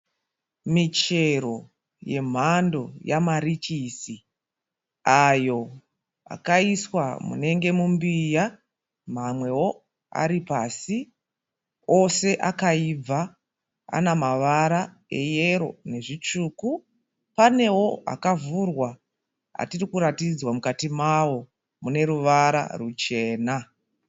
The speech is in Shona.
Michero yemhando yamarichisi. Ayo akaiswa munenge mumbiya. Mamweo aripasi ose akaibva. Ana mavara eyero nezvitsvuku. Paneo akavhurwa atirikuratidzwa mukati mao mune ruvara ruchena.